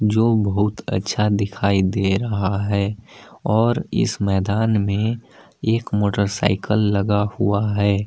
जो बहुत अच्छा दिखाई दे रहा है और इस मैदान में एक मोटरसाइकिल लगा हुआ है।